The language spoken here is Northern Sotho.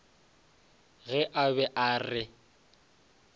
ge a be a re